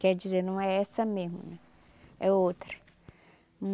Quer dizer, não é essa mesmo né, é outra.